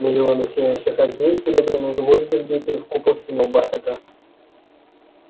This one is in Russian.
миллионы сияющих огней серебряные гвозди вбитые в купол синего бархата